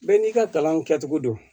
Bɛɛ n'i ka kalan kɛcogo don